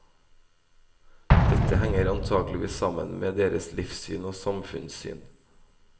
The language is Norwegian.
Dette henger antakeligvis sammen med deres livssyn og samfunnssyn.